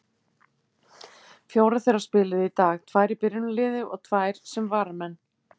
Fjórar þeirra spiluðu í dag, tvær í byrjunarliði og tvær sem varamenn.